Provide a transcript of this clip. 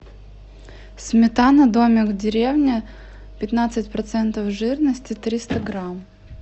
сметана домик в деревне пятнадцать процентов жирности триста грамм